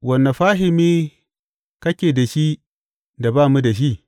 Wane fahimi kake da shi da ba mu da shi?